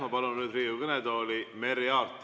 Ma palun nüüd Riigikogu kõnetooli Merry Aarti.